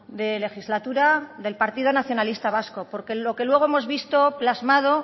de legislatura del partido nacionalista vasco porque en los que luego hemos visto plasmado